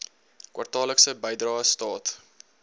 kwartaallikse bydrae staat